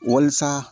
Walasa